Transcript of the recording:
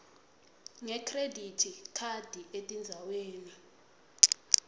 ngekhredithi khadi etindzaweni